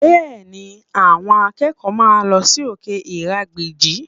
Bẹ́ẹ̀ni, àwọn akẹ́kọ̀ọ́ máa lọ sí òkè ìrágbìjí